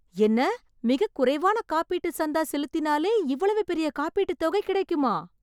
என்ன? மிக குறைவான காப்பீட்டு சந்தா செலுத்தினாலே இவ்வளவு பெரிய காப்பீட்டு தொகை கிடைக்குமா?